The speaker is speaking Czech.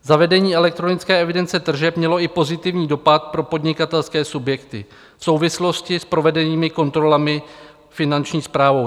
Zavedení elektronické evidence tržeb mělo i pozitivní dopad pro podnikatelské subjekty v souvislosti s provedenými kontrolami Finanční správou.